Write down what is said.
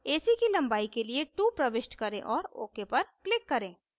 ac की लंबाई के लिए 2 प्रविष्ट करें और ok पर click करें